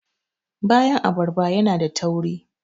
bayan abarba yana da tauri